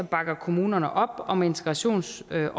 bakker kommunerne op om integrationsopgaven